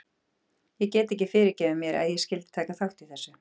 Ég get ekki fyrirgefið mér að ég skyldi taka þátt í þessu.